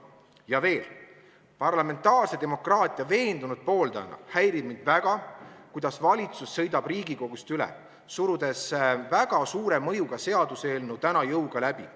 Ja veel, parlamentaarse demokraatia veendunud pooldajana häirib mind väga, kuidas valitsus sõidab Riigikogust üle, surudes väga suure mõjuga seaduseelnõu täna jõuga läbi.